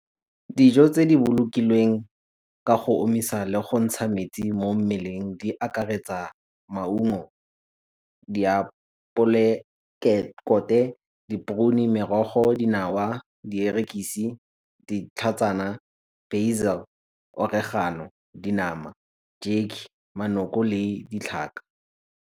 Dijo tse di bolokilweng ka go omisa le go ntsha metsi mo mmeleng di akaretsa maungo, diapole, di , merogo, dinawa, dierekisi, ditlhatsana, , oregano, dinama, , manoko le ditlhaka.